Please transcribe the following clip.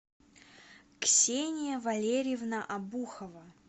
ксения валерьевна обухова